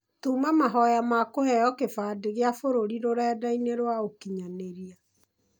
Tũma mahoya makũheo kĩbandĩ gia bũrũri rũrenda-inĩ rwa ũkinyanĩria.